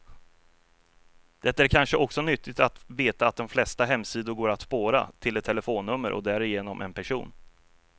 Det är kanske också nyttigt att veta att de flesta hemsidor går att spåra, till ett telefonnummer och därigenom en person.